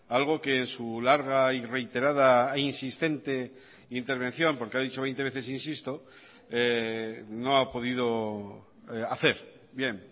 algo que en su larga y reiterada e insistente intervención porque ha dicho veinte veces insisto no ha podido hacer bien